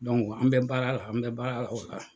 an bɛ baara la an bɛ baara la o la.